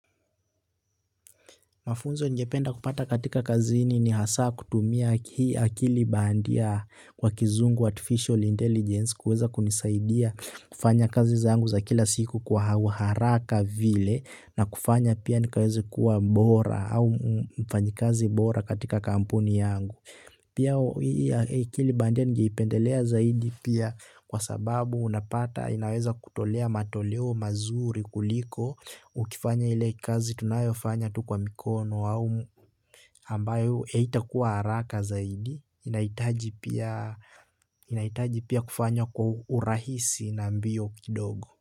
Mafunzo ningependa kupata kazini ni hasa kuoata hii akili bandia kwa kizungu artificial intelligence kuweza kunisaidia kufanya kazi zaangu za kila siku kwa haraka vile na kufanya pia nikaweze kuwa mbora au mfanyikazi bora katika kampuni yangu. Pia akili baadaye ningeipendelea zaidi pia kwa sababu unapata inaweza kutolea matoleo mazuri kuliko ukifanya ile kazi tunayofanya kwa mikono au ambayo eita kuwa haraka zaidi inaitaji pia kufanya kwa urahisi na mbio kidogo.